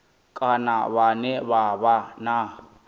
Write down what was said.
kana vhane vha vha na